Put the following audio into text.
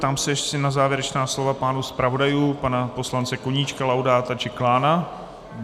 Ptám se ještě na závěrečná slova pánů zpravodajů - pana poslance Koníčka, Laudáta či Klána.